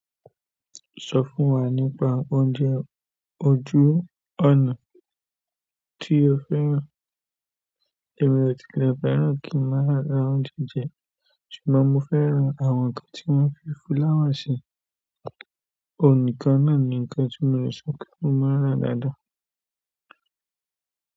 Sọ fún wa nípa oúnjẹ ojú ọ̀nà tí o fẹ́ràn. Èmi ò ti lẹ̀ fẹ́ràn kí màá ra oúnjẹ jẹ. Ṣùgbọ́n mo fẹ́ràn àwọn ǹkan tí wọ́n máa ń fii fúláwà ṣe. Òun nìkan náà ni ǹkan tí mo lè sọpé mo màá ń rà dáadáa.